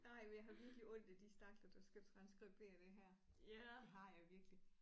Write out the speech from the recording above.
Nej men jeg har virkelig ondt af de stakler der skal transskribere det her det har jeg virkelig